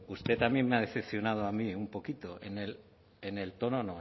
bueno usted también me ha decepcionado a mí un poquito en el tono